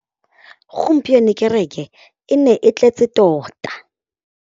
Gompieno kêrêkê e ne e tletse tota.